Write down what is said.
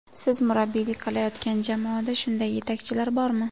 Siz murabbiylik qilayotgan jamoada shunday yetakchilar bormi?